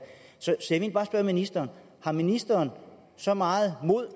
er ministeren har ministeren så meget mod